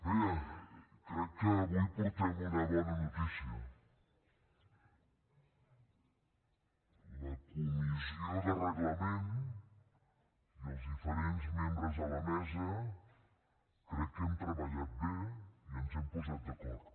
bé crec que avui portem una bona notícia la comissió de reglament i els diferents membres de la mesa crec que hem treballat bé i ens hem posat d’acord